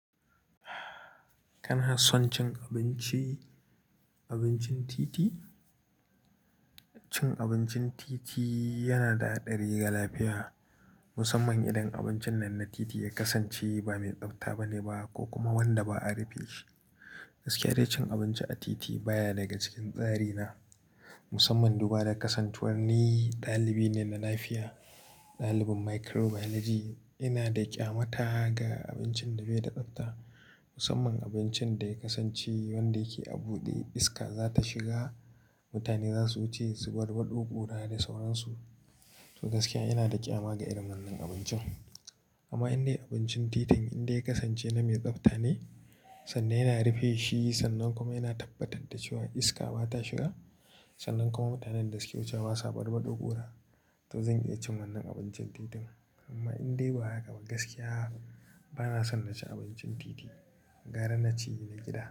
Kana son cin abinci, abincin titi? Cin abincin titi yana da haɗari ga lafiya, musamman idan abincin nan na titi ya kasance ba mai tsabta ba ne ba ko kuma wanda ba a rufe shi. Gaskiya dai cin abinci a titi baya daga cikin tsari na, musamman duba da kasancewar ni ɗalibi ne na lafiya, ɗalibin microbiology. Ina da ƙyamata ga abincin da bai da tsabta, musamman abincin da ya kasance wanda yake a buɗe iska za ta shiga. Mutane za su wuce su barbaɗo ƙura da sauransu. To gaskiya ina da ƙyama ga irin wannan abincin. Amma in dai abincin titin in dai ya kasance na mai tsabta ne, sannan yana rufe shi, sannan kuma yana tabbatar da cewa iska ba ta shiga, sannan kuma mutanen da suke wucewa ba su barbaɗo ƙura, to zan iya cin wannan abincin titin. Amma in dai ba haka ba, gaskiya ba na son na ci abincin titi. Gara na ci na gida.